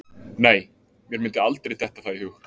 Nei, mér myndi aldrei detta það í hug.